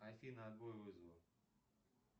афина отбой вызова